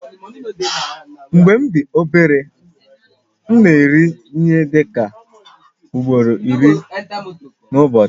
Mgbe m dị obere, m na-eri ihe dị ka ugboro iri n'ụbọchị